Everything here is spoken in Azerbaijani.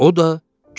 O da getdi.